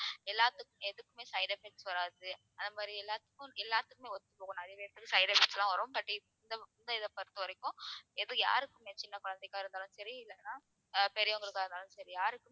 எல்லாத்துக்~ எதுக்குமே side effects வர்றாது அந்த மாதிரி எல்லாத்துக்கும் எல்லாத்துக்குமே ஒத்துப்போகும் நிறைய பேருக்கு side effects லாம் வரும் but இந்த இந்த இதை பொறுத்தவரைக்கும் எதுவும் யாருக்குமே சின்ன குழந்தைகளாக இருந்தாலும் சரி இல்லைனா அஹ் பெரியவங்களுக்கா இருந்தாலும் சரி யாருக்குமே